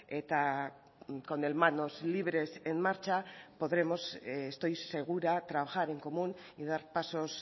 eta con el manos libres en marcha podremos estoy segura trabajar en común y dar pasos